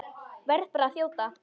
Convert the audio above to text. Verð bara að þjóta!